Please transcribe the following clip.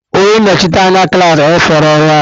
Onye nnọchite anya klaasị enyefela ọrụ a.